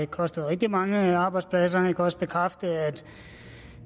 kostet rigtig mange arbejdspladser jeg kan også bekræfte at